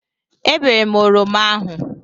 Ebere m oroma ahụ.